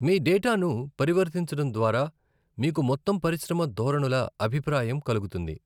మీ డేటాను పరివర్తించడం ద్వారా, మీకు మొత్తం పరిశ్రమ ధోరణుల అభిప్రాయం కలుగుతుంది.